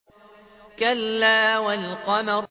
كَلَّا وَالْقَمَرِ